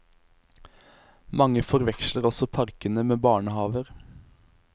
Mange forveksler også parkene med barnehaver.